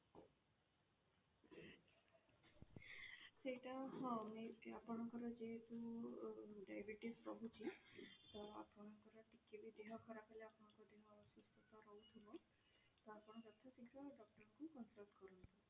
ସେଇଟା ହଁ ଆପଣ ଆପଣଙ୍କର ଯେହେତୁ diabetes ରହୁଛି ତ ଆପଣଙ୍କର କିଛି ବି ଦେହ ଖରାପ ହେଲା ଆପଣଙ୍କ ଦେହ ଅସୁସ୍ଥ ରହୁଥିବ ତ ଆପଣ ଯଥା ଶୀଘ୍ର doctor କୁ contact କରନ୍ତୁ।